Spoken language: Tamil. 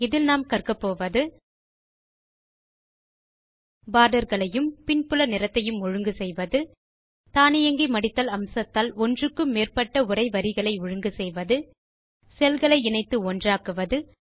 இதில் நாம் கற்கப்போவது பார்டர்களையும் பின்புல நிறத்தையும் ஒழுங்கு செய்வது தானியங்கி மடித்தல் அம்சத்தால் ஒன்றுக்கு மேற்பட்ட உரை வரிகளை ஒழுங்கு செய்வது செல் களை இணைத்து ஒன்றாக்குவது